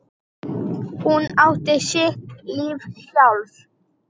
Hún átti sitt líf sjálf.